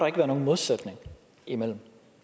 ikke være nogen modsætning imellem